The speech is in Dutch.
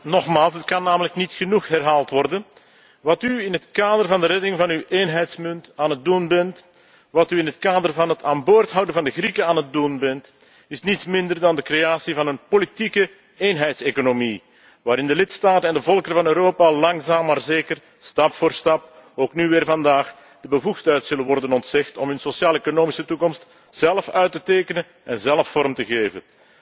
Collega's, ik herhaal het nogmaals, het kan namelijk niet genoeg herhaald worden wat u in het kader van de redding van uw eenheidsmunt aan het doen bent, wat u in het kader van het aan boord houden van de Grieken aan het doen bent, is niets minder dan de creatie van een politieke eenheidseconomie waarin de lidstaten en de volkeren van Europa langzaam maar zeker, stap voor stap, ook nu weer vandaag, de bevoegdheid zal worden ontzegd om hun sociaal economische toekomst zelf uit te tekenen en zelf vorm te geven.